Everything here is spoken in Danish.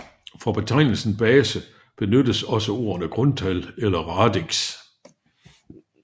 For betegnelsen base benyttes også ordene grundtal eller radix